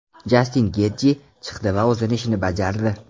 Jastin Getji chiqdi va o‘z ishini bajardi.